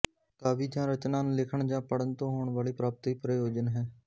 ਕਾਵਿ ਜਾਂ ਰਚਨਾ ਨੂੰ ਲਿਖਣ ਜਾਂ ਪੜ੍ਹਨ ਤੋਂ ਹੋਣ ਵਾਲੀ ਪ੍ਰਾਪਤੀ ਪ੍ਰਯੋਜਨ ਹੈ